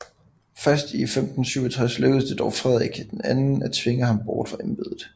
Først i 1567 lykkedes det dog Frederik II at tvinge ham bort fra embedet